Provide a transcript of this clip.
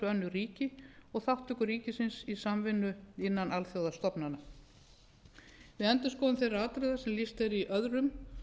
önnur ríki og þátttöku ríkisins í samvinnu innan alþjóðastofnana við endurskoðun þeirra atriða sem lýst er í öðru og